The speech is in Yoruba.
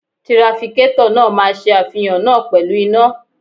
Trafikétọ̀ náà máa ṣe àfihàn náà pẹ̀lú iná.